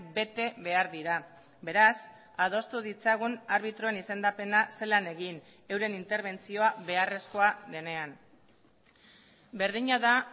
bete behar dira beraz adostu ditzagun arbitroen izendapena zelan egin euren interbentzioa beharrezkoa denean berdina da